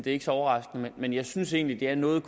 ikke så overraskende men jeg synes egentlig det er noget